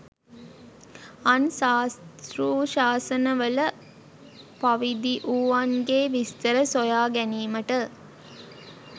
අන් සාස්තෘශාසන වල පවිදිවුවන්ගේ විස්තර සොයාගැනීමට